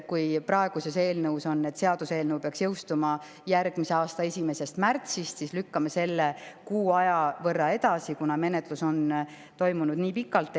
Kui praeguses eelnõus on kirjas, et seaduseelnõu peaks jõustuma järgmise aasta 1. märtsil, siis me lükkame selle kuu aja võrra edasi, kuna menetlus on toimunud nii pikalt.